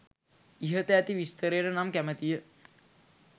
ඉහත ඇති විස්තරයට නම් කැමතිය.